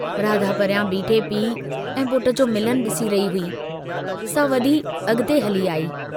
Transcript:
राधा परियां बीठे पीउ ऐं पुट जो मिलन डिसी रही हुई, सा वधी अॻिते हली आई।